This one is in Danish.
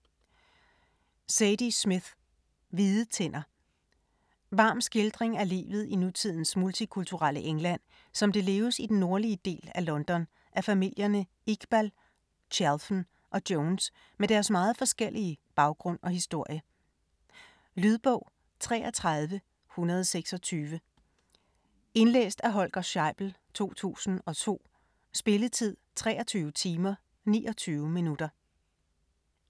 Smith, Zadie: Hvide tænder Varm skildring af livet i nutidens multikulturelle England, som det leves i den nordlige del af London af familierne Iqbal, Chalfen og Jones med deres meget forskellige baggrund og historie. Lydbog 33126 Indlæst af Holger Scheibel, 2002. Spilletid: 23 timer, 29 minutter.